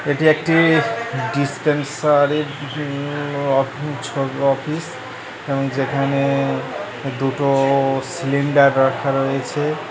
এটি একটি -ই ডিসপেনসারি -এর উম অফ অফ অফিস এবং যেখানে-এ দুটো-ও সিলিন্ডার রাখা রয়েছে।